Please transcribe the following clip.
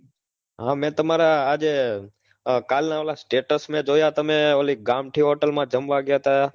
હા મેં તમારા આજે કાલના ઓલા status મેં જોયા તમે ઓલી ગામઠી hotel માં જમવા ગયા હતા?